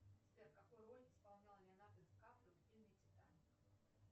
сбер какую роль исполнял леонардо ди каприо в фильме титаник